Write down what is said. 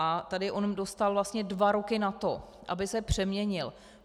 A tady on dostal vlastně dva roky na to, aby se přeměnil.